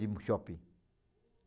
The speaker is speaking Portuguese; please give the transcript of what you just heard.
no shopping.